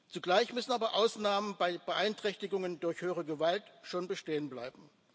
Zugleich müssen aber Ausnahmen bei Beeinträchtigungen durch höhere Gewalt schon bestehen bleiben.